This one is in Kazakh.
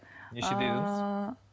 ыыы нешеде едіңіз